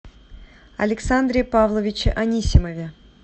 александре павловиче анисимове